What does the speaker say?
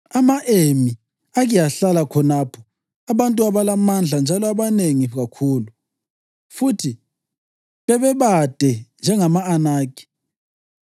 (Ama-Emi ake ahlala khonapho, abantu abalamandla njalo abanengi kakhulu, futhi bebade njengama-Anakhi.